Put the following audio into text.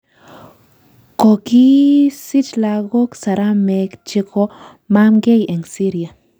Kokisich lagook Saramek chekomamgei eng Syria